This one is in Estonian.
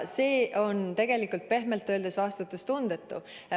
See on tegelikult pehmelt öeldes vastutustundetu.